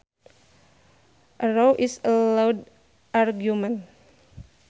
A row is a loud argument